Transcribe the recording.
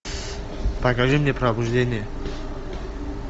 покажи мне пробуждение